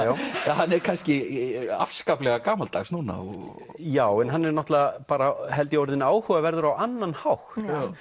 hann er kannski afskaplega gamaldags núna já en hann er náttúrulega bara held ég orðinn áhugaverður á annan hátt